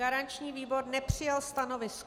Garanční výbor nepřijal stanovisko.